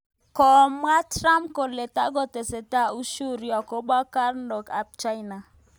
Komwa Trump kole takotesetai ushuru akobo karnok ab China